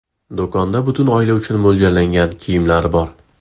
Do‘konda butun oila uchun mo‘ljallangan kiyimlar bor.